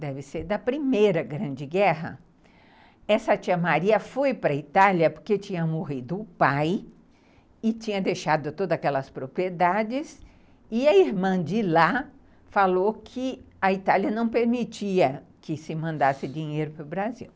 deve ser da Primeira Grande Guerra, essa Tia Maria foi para a Itália porque tinha morrido o pai e tinha deixado todas aquelas propriedades, e a irmã de lá falou que a Itália não permitia que se mandasse dinheiro para o Brasil.